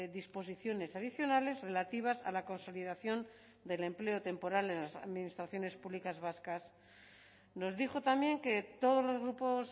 disposiciones adicionales relativas a la consolidación del empleo temporal en las administraciones públicas vascas nos dijo también que todos los grupos